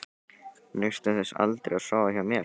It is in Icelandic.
Naustu þess aldrei að sofa hjá mér?